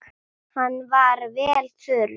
Hann var vel þurr.